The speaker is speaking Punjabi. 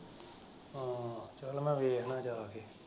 ਚੱਲ ਵੇਖਨਾ ਜਾ ਕੇ।